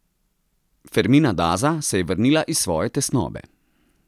Fermina Daza se je vrnila iz svoje tesnobe.